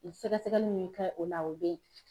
Sɛgɛsɛgɛli min bɛ kɛ o la o bɛ ye.